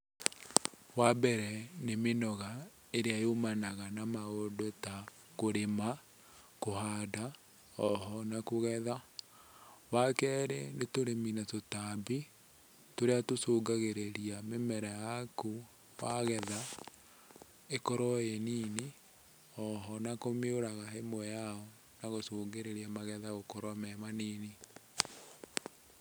Wambere nĩ mĩnoga ĩrĩa yumanaga na maũndũ ta kũrĩma, kũhanda, oho na kũgetha. Wakerĩ nĩ tũrĩmi na tũtambi, tũrĩa tũcũngagĩrĩria mĩmera yaku wagetha ĩkorwo ĩ nini, oho na kũmĩũraga ĩmwe yao, na gũcũngĩrĩria magetha gũkorwo me manini.